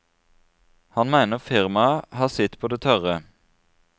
Han mener firmaet har sitt på det tørre.